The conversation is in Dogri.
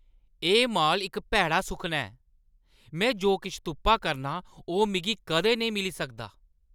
एह् माल इक भैड़ा सुखना ऐ। में जो किश तुप्पा करनां, ओह् मिगी कदें नेईं मिली सकदा।